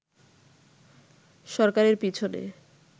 সরকারের পিছনে